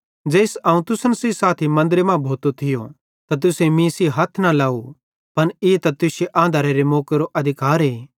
ज़ेइस अवं तुसन सेइं साथी मन्दरे मां भोतो थियो त तुसेईं मीं सेइं हथ न लाव पन ई त तुश्शे आंधरेरे मौकेरो अधिकारे